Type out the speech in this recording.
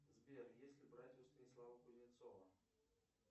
сбер если брать у станислава кузнецова